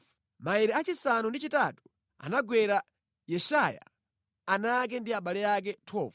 Maere achisanu ndi chitatu anagwera Yeshaya, ana ake ndi abale ake. 12